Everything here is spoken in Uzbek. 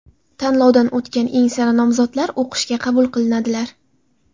Tanlovdan o‘tgan eng sara nomzodlar o‘qishga qabul qilinadilar.